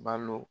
Balo